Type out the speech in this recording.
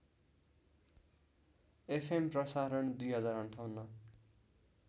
FM प्रसारण २०५८